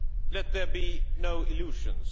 Let there be no illusions.